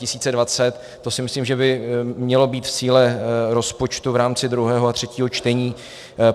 To si myslím, že by mělo být v síle rozpočtu v rámci druhého a třetího čtení.